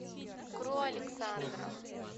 кру александра